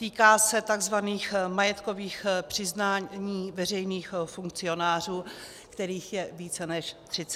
Týká se tzv. majetkových přiznání veřejných funkcionářů, kterých je více než 30 tisíc.